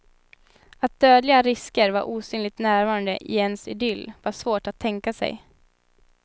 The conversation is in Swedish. Att dödliga risker var osynligt närvarande i ens idyll var svårt att tänka sig.